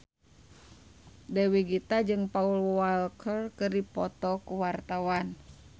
Dewi Gita jeung Paul Walker keur dipoto ku wartawan